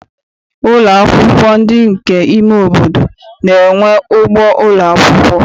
Ụlọ akwụkwọ ndị nke ime obodo na-enwe ugbo ụlọakwụkwọ.